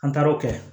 An taara o kɛ